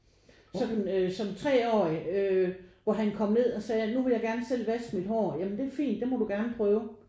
Sådan øh som treårig øh hvor han kom ned og sagde nu vil jeg gerne selv vaske mit hår ja men det er fint det må du gerne prøve